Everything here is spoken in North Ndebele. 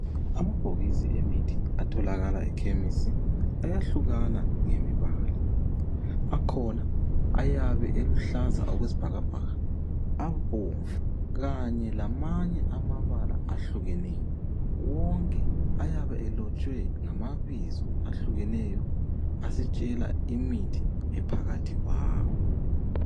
Amabhokisi emithi atholakala ekhemisi ayahlukana ngemibala. Akhona ayabe eluhlaza okwesibhakabhaka, abomvu Kanye lamanye alembala ehlukeneyo wonke ayabe elotshwe ngamabizo ahlukeneyo asitshela imithi ephakathi kwawo.